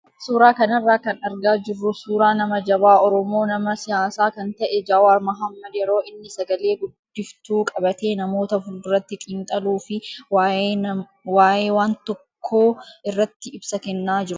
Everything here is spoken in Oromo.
Suuraa kanarraa kan argaa jirru suuraa nama jabaa oromoo nama siyaasaa kan ta'e Jawaar Mahaammad yeroo inni sagalee guddiftuu qabatee namoota fuulduratti xiinxaluu fi waayee waan tokkoo irratti ibsa kennaa jirudha.